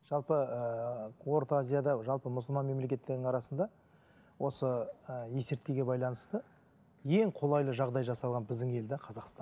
жалпы ыыы орта азияда жалпы мұсылман мемелкеттерінің арасында осы ы есірткіге байланысты ең қолайлы жағдай жасалған біздің ел де қазақстан